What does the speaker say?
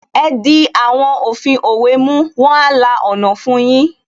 Ẹ di àwọn òfin òwe mú, wọn a la ọ̀nà fun yín